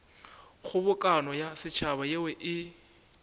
kgobokano ya setšhaba yeo e